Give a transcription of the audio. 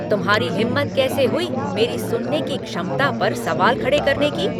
तुम्हारी हिम्मत कैसे हुई मेरी सुनने की क्षमता पर सवाल खड़े करने की?